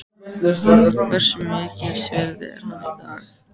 Hversu mikils virði er hann í dag?